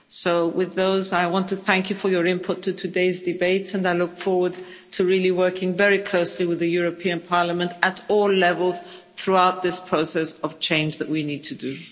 So with that I want to thank you for your input in today's debates and I look forward to really working very closely with the European Parliament at all levels throughout this process of change that we need to do.